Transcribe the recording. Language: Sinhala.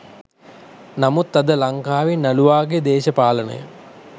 නමුත් අද ලංකාවේ නළුවාගේ දේශපාලනය